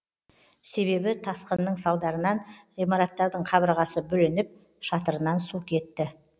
себебі тасқынның салдарынан ғимараттардың қабырғасы бүлініп шатырынан су кетті